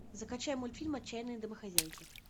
закачай мультфильм отчаянные домохозяйки